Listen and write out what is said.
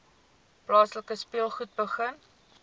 plaaslike speelskool begin